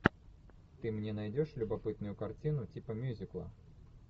ты мне найдешь любопытную картину типа мюзикла